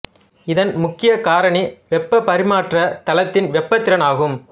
இதன் முக்கிய காரணி வெப்பப் பரிமாற்றத் தளத்தின் வெப்பத் திறன் ஆகும்